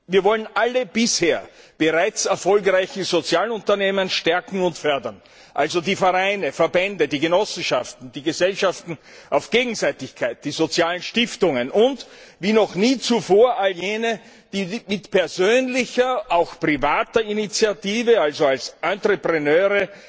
Wir wollen alle bisher bereits erfolgreichen Sozialunternehmen stärken und fördern, also die Vereine, Verbände, Genossenschaften, die Gesellschaften auf Gegenseitigkeit, die sozialen Stiftungen und wie noch nie zuvor all jene, die mit persönlicher, auch privater Initiative, also als Entrepreneure